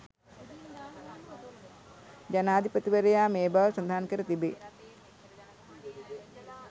ජනාධීපතිවරයා මේ බව සදහන් කර තිබේ